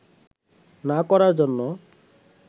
না করার জন্য